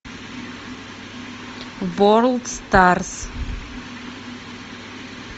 ворлд старс